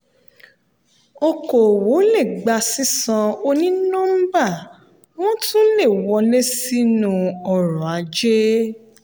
okòwò le gba sísan oní nọ́mbà wọ́n tún le wọlé sínú ọrọ̀-ajé.